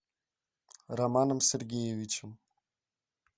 романом сергеевичем